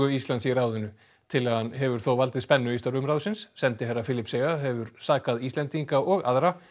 Íslands í ráðinu tillagan hefur þó valdið spennu í störfum ráðsins sendiherra Filippseyja hefur sakað Íslendinga og aðra